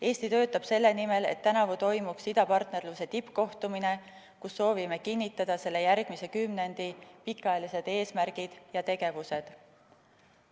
Eesti töötab selle nimel, et tänavu toimuks idapartnerluse tippkohtumine, kus soovime kinnitada selle järgmise kümnendi pikaajalised eesmärgid ja tegevused.